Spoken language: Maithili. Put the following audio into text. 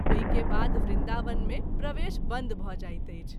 ओहि के बाद वृन्दावन मे प्रवेश बन्द भ’ जाइत अछि।